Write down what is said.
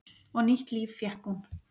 Og nýtt líf fékk hún.